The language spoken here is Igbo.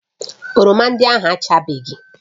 Oroma ndị ahụ achabeghị